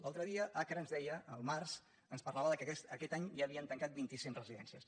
l’altre dia acra ens deia al març ens parlava que aquest any ja havien tancat vint·i·cinc residències